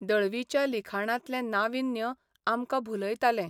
दळवीच्या लिखाणांतलें नाविन्य आमकां भुलयतालें.